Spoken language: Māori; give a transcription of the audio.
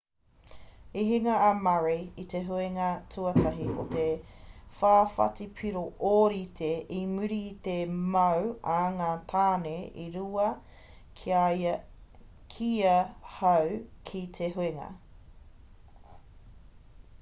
i hinga a murray i te huinga tuatahi i te whawhati piro ōrite i muri i te mau a ngā tāne e rua ki ia hau ki te huinga